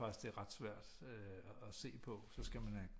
Faktisk det er ret svært at se på så skal man have